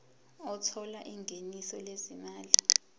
othola ingeniso lezimali